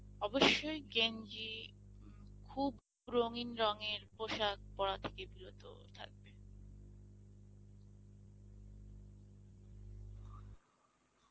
অবশ্যই গেঞ্জি খুব রঙিন রংয়ের পোশাক পরা থেকে থাকবে